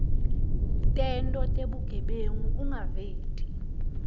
tento tebugebengu ungaveti